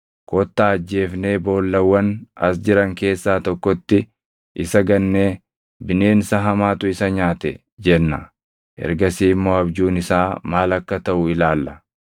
Kottaa ajjeefnee boollawwan as jiran keessaa tokkotti isa gannee bineensa hamaatu isa nyaate jenna. Ergasii immoo abjuun isaa maal akka taʼu ilaalla.”